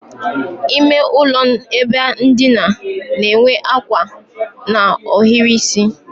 Ímé ụlọ ebe ndina n'enwe ákwà na ohiri isi